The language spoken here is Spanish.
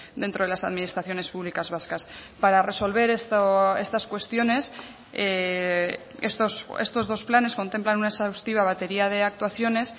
dentro de las administraciones públicas vascas para resolver estas cuestiones estos dos planes contemplan una exhaustiva batería de actuaciones